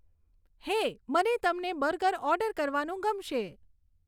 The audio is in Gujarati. હે મને તમને બર્ગર ઓર્ડર કરવાનું ગમશે